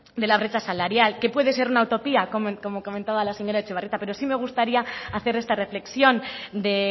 de la brecha salarial que puede ser una utopía como comentaba la señora etxebarrieta pero si me gustaría hacer esta reflexión de